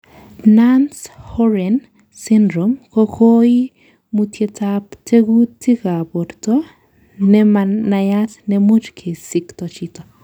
Nance Horan syndrome ko koimutietab tekutika borto nemanayat nemuch kesikto chito.